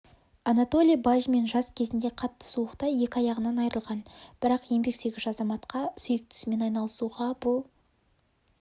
анатолий бажмин жас кезінде қатты суықта екі аяғынан айырылған бірақ еңбексүйгіш азаматқа сүйікті ісімен айналысуға бұл